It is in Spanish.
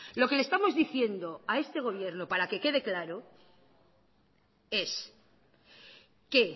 lo que le estamos diciendo a este gobierno para que quede claro es que